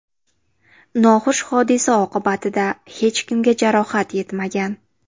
Noxush hodisa oqibatida hech kimga jarohat yetmagan.